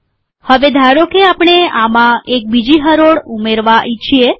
હવે ધારોકે આપણે આમાં એક બીજી હરોળ ઉમેરવાં ઈચ્છીએ